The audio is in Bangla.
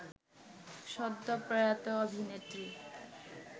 সদ্য প্রয়াত অভিনেত্রী